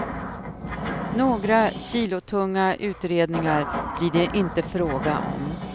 Några kilotunga utredningar blir det inte fråga om.